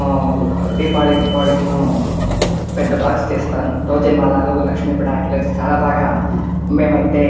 ఆ దిపావలి దీపావళి కిను పెద్ద బాక్స్ తెస్తాను థౌసండ్ వాలాలు లక్ష్మి పటాకు లైతే వచ్చేసి చాలా బాగా మేమైతే